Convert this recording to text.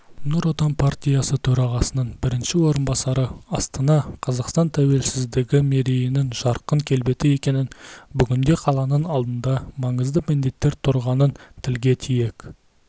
нұр отан партиясы төрағасының бірінші орынбасары астана қазақстан тәуелсіздігі мерейінің жарқын келбеті екенін бүгінде қаланың алдында маңызды міндеттер тұрғанын тілге тиек